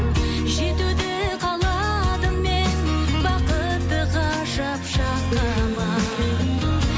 жетуді қаладым мен бақытты ғажап шаққа ма